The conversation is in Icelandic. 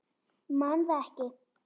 Man það ekki.